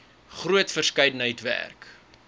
groot verskeidenheid werk